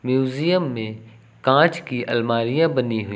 museum में कांच की अलमारियां बनी हुई--